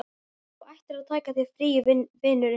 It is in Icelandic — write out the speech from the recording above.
Þú ættir að taka þér frí, vinurinn.